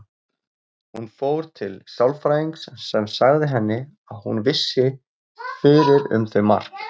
Hún fór til sálfræðings sem sagði henni það sem hún vissi fyrir um þau Mark.